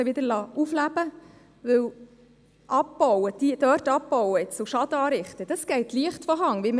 Hier haben wir einen Betrag von 70 000 Franken.